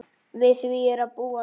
Við því er að búast.